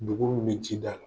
Degun mun be ji da la